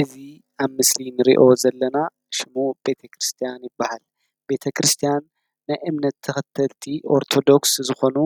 እዙ ኣብ ምስሊ እንርዮ ዘለና ሽሙ ቤተ ክርስቲያን ይበሃል። ቤተ ክርስቲያን ንናይ እምነት ተኽተልቲ ኦርቶዶክስ ዝኾኑ